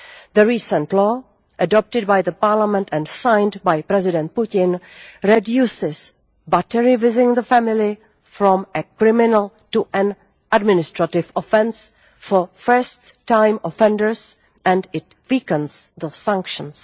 The recent law adopted by the parliament and signed by President Putin reduces battery within the family' from a criminal to an administrative offence for first time offenders, and it weakens the sanctions.